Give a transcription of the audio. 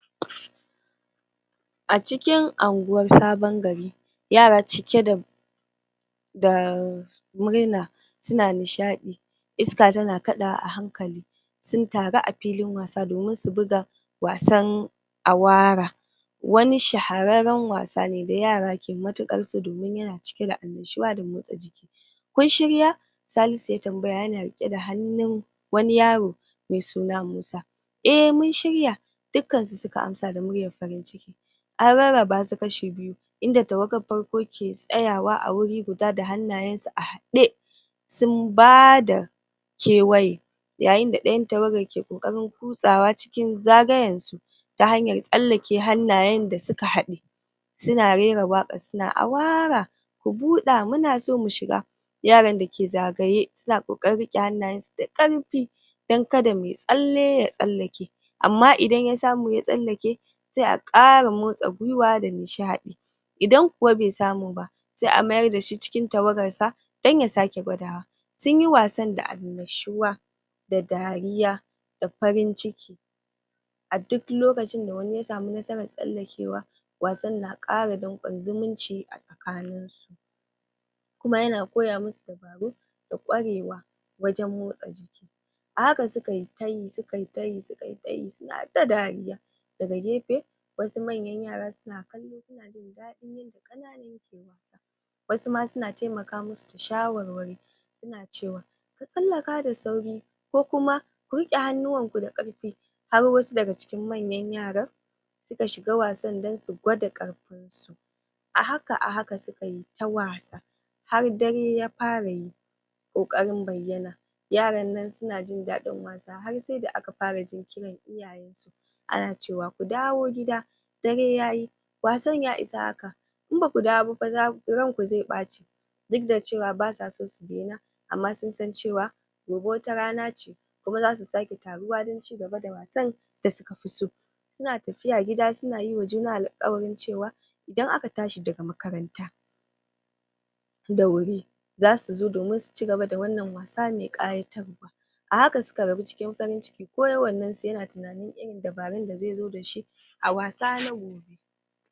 a cikin anguwan sabon gari yara cike da daaa murna suna nishaɗi iska tana kaɗawa a hankali sun taru a filin wasa domin su buga wasan awaara wani shahararren wasa ne da yara ke matuƙar so domin yana cike da annashuwa da motsa jiki kun shirya? Salisu ya tambaya yana riƙe da hannun wani yaro me suna Musa eh mun shirya dukkan su suka amsa da muryar farin ciki an rarraba su kashi biyu inda tawagar farko ke tsayawa a wuri guda da hannayen su a haɗe sun ba da kewaye yayin da ɗayan tawagar ke ƙoƙarin kutsawa cikin zagayen su ta hanyan tsallake hannayen da suka haɗe suna rera waƙar suna awaara ku buɗa muna so mu shiga yaran da ke zagaye suna ƙoƙarin riƙe hannayensu da ƙarfi dan kada me tsalle ya tsallake amma idan ya samu ya tsallake se a ƙara motsa gwiwa da nishaɗi idan kuwa be samu ba se a mayar da shi cikin tawagar sa dan ya sake gwadawa sun yi wasan da annashuwa da dariya da farin ciki a duk lokacin da wani ya samu nasarar tsallakewa wasan na ƙara danƙon zumunci a tsakanin su kuma yana koya mu su dabaru da ƙwarewa wajen motsa jiki a haka suka yi tayi suka yi tayi suka yi tayi suna ta dariya daga gefe wasu manyan yara suna kallo suna jin daɗin yadda ƙananan ke wasa wasu ma suna temaka mu su da shawarwari suna cewa ka tsallaka da sauri ku kuma, ku riƙe hannuwan ku da ƙarfi har wasu daga cikin manyan yaran suka shiga wasan dan su gwada ƙarfin su a haka - a haka suka yi ta wasa har dare ya fara yi ƙoƙarin bayyana yaran nan suna jin daɗin wasa har se da aka fara jin kiran iyayen su ana cewa ku dawo gida dare yayi wasan ya isa haka in baku dawo ba fa ran ku ze ɓaci duk da cewa basa so su dena amma sun san cewa gobe wata rana ce kuma zasu sake taruwa dan cigaba da wasan da suka fi so suna tafiya gida suna yi wa juna alƙawarin cewa idan aka tashi daga makaranta da wuri zasu zo domin su cigaba da wannan wasa me ƙayatarwa a haka suka rabu cikin farin ciki kowannen su yana tunanin dabarun da ze zo da shi a wasa na gobe